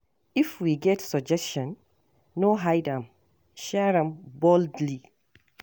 If you get suggestion, no hide am; share am boldly.